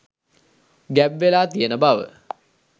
ගැබ්වෙලා තියෙන බව